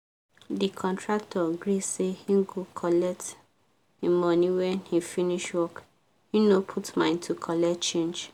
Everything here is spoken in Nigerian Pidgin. the contractor gree say he cgo collect him money when he finish work he no put mind to colet change